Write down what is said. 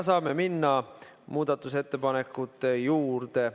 Saame minna muudatusettepanekute juurde.